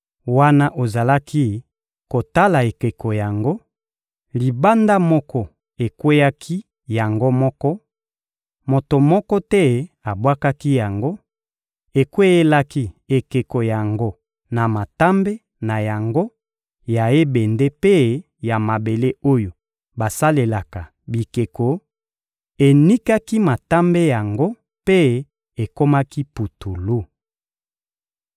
Wana ozalaki kotala ekeko yango, libanga moko ekweyaki yango moko (moto moko te abwakaki yango), ekweyelaki ekeko yango na matambe na yango ya ebende mpe ya mabele oyo basalelaka bikeko, enikaki matambe yango mpe ekomaki putulu.